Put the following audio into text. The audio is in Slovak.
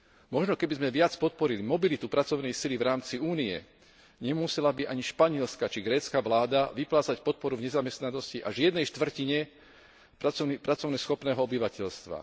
Možno keby sme viac podporili mobilitu pracovnej sily v rámci Únie, nemusela by ani španielska či grécka vláda vyplácať podporu v nezamestnanosti až jednej štvrtine práceschopného obyvateľstva.